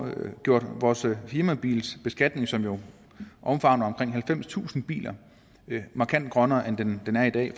gjort vores firmabilsbeskatning som jo omfatter omkring halvfemstusind biler markant grønnere end den er i dag